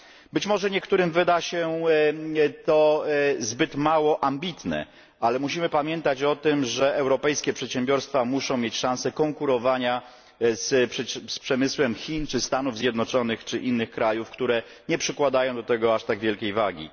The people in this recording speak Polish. Być może niektórym wyda się to zbyt mało ambitne, ale musimy pamiętać o tym, że europejskie przedsiębiorstwa muszą mieć szanse konkurowania z przemysłem Chin czy Stanów Zjednoczonych, czy innych krajów, które nie przykładają do tego aż tak wielkiej wagi.